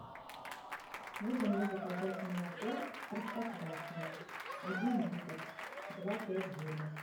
можно мне заказать молоко простоквашино один литр два пять жирность